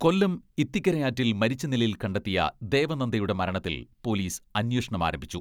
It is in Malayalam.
കൊല്ലം ഇത്തിക്കര ആറ്റിൽ മരിച്ച നിലയിൽ കണ്ടെത്തിയ ദേവനന്ദയുടെ മരണത്തിൽ പൊലീസ് അന്വേഷണം ആരംഭിച്ചു.